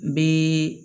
N bɛ